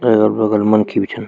तेफर बगल मनखी भी छन।